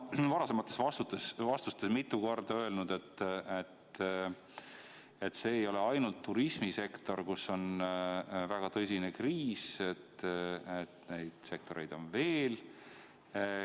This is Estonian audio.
Te olete oma varasemates vastustes mitu korda öelnud, et mitte ainult turismisektoris ei ole väga tõsine kriis, vaid neid sektoreid on veel.